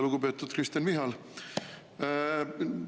Lugupeetud Kristen Michal!